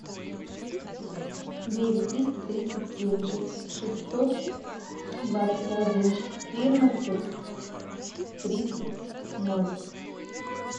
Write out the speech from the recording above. девять триста тридцать семь шестьсот двадцать один четырнадцать тридцать ноль